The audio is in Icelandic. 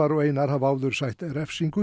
og Einar hafa áður sætt refsingu